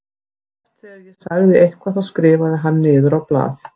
Oft þegar ég sagði eitthvað þá skrifaði hann niður á blað.